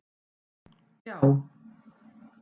já.